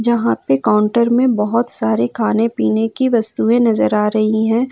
यहां पे काउंटर में बहोत सारे खाने पीने की वस्तुएं नजर आ रही है।